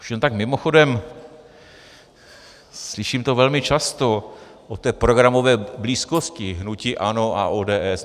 Už jen tak mimochodem - slyším to velmi často, o té programové blízkosti hnutí ANO a ODS.